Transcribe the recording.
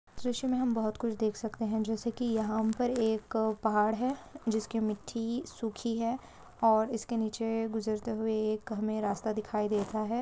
तस्वीर में हम बहोत कुछ देख सकते है जेसे की यहा पे एक पहाड़ है जिस की मिटटी सुखी है और इसके निचे गुजरते हुवे एक हमे रास्ता दिखाई देता है।